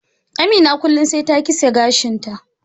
Amina kullum sai kitse gashin ta.